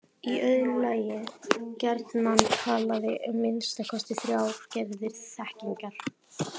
Í öðru lagi er gjarnan talað um að minnsta kosti þrjár gerðir þekkingar.